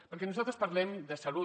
perquè nosaltres parlem de salut